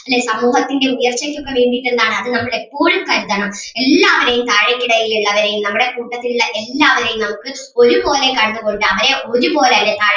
അല്ലേ സമൂഹത്തിൻ്റെ ഉയർച്ചക്കൊക്കെ വേണ്ടീട്ട് എന്താണ് അത് നമ്മൾ എപ്പോഴും കരുതണം എല്ലാവരേയും താഴെക്കിടയിൽ ഉള്ളവരേയും നമ്മടെ കൂട്ടത്തിലൊള്ള എല്ലാവരേയും നമുക്ക് ഒരുപോലെ കണ്ടുമുട്ടാം അവരെ ഒരുപോലെ അല്ലെ